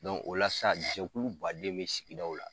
o la sa jɛkulu baden bɛ sigidaw la.